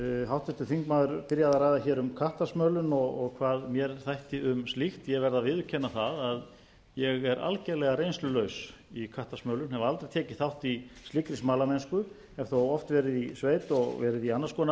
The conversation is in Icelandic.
háttvirtur þingmaður byrjaði að ræða hér um kattasmölun og hvað mér þætti um slíkt ég verð að viðurkenna það að ég er algjörlega reynslulaus í kattasmölun hef aldrei tekið þátt í slíkri smalamennsku hef þó oft verið í sveit og verið í annars konar